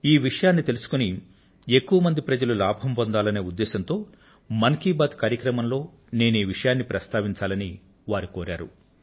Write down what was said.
ఈ విషయాన్ని తెలుసుకుని ఎక్కువ మంది ప్రజలు లాభం పొందాలనే ఉద్దేశంతో మన్ కీ బాత్ మనసులో మాట కార్యక్రమంలో నేను ఈ విషయాన్ని ప్రస్తావించాలని వారు కోరారు